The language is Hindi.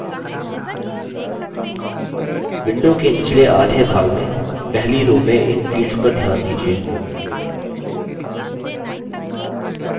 window के निचले आधे भाग में पहली row में इन fields पर ध्यान दीजिये